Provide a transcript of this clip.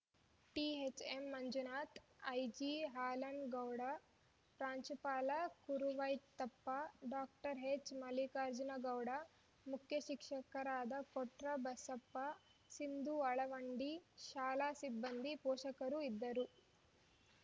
THM Manjunatha ಐಜಿಹಾಲನಗೌಡ ಪ್ರಾಂಚುಪಾಲ Kuruvetteppa doctor ಎಚ್‌ಮಲ್ಲಿಕಾರ್ಜುನಗೌಡ ಮುಖ್ಯ ಶಿಕ್ಷಕರಾದ ಕೊಟ್ರಬಸಪ್ಪ ಸಿಂಧು ಅಳವಂಡಿ ಶಾಲಾ ಸಿಬ್ಬಂದಿ ಪೋಷಕರು ಇದ್ದರು